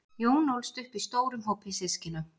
jón ólst upp í stórum hópi systkina